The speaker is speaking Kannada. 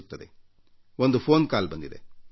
ಈಗ ನಾನು ಸ್ವೀಕರಿಸಿದ ಒಂದು ದೂರವಾಣಿ ಕರೆಯನ್ನು ನೀವೂ ಕೇಳಿ